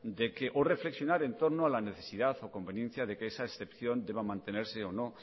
o reflexionar en torno a la necesidad o conveniencia de que esa excepción deba mantenerse o no